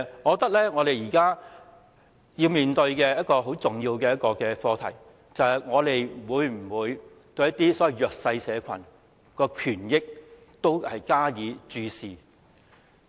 我認為，我們現在面對一個十分重要的課題，便是我們會否對所謂弱勢社群的權益加以注視？